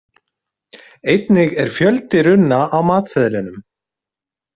Einnig er fjöldi runna á matseðlinum.